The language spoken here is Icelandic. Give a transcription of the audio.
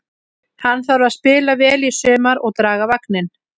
Hann þarf að spila vel í sumar og draga vagninn.